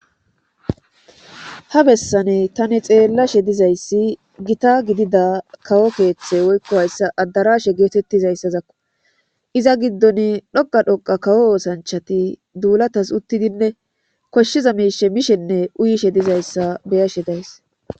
ha bessane tani xeellashe dizayssi gita gidida kawo keeththe woykko hayssa addarashe geetettizayssazakko iza giddon dhoqa dhoqa kawo oosanchati duulatas uttidinne koshshiza miishe mishenne uyishe dizayssa beyashe days